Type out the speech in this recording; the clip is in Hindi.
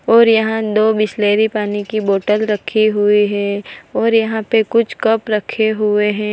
और यहां दो बिसलेरी पानी की बॉटल रखी हुई है और यहां पे कुछ कप रखे हुए हैं।